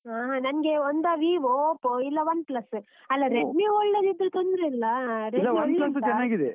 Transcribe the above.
ಆಹಾ. ನಂಗೆ ಒಂದಾ Vivo, Oppo ಇಲ್ಲ OnePlus ಅಲ್ಲಾ Redmi ಒಳ್ಳೆದಿದ್ರೆ ತೊಂದ್ರೆ ಇಲ್ಲ .